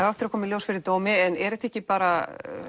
á eftir að koma í ljós fyrir dómi en er þetta ekki bara